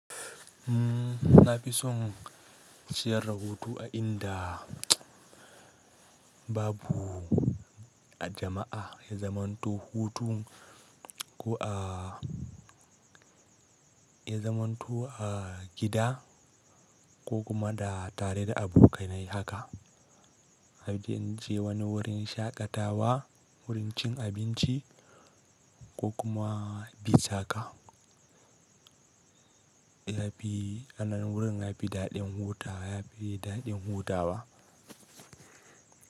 Na fi son ciyar da hutu a inda babu jama'a, ya zamanto hutu ko a, ya zamanto a gida ko kuma da tare da abokanai haka. Abin je wani wurin shaƙatawa, wurin cin abinci ko kuma bi saka. Yafi anan wurin nafi daɗin hutawa yafi daɗin huda wa.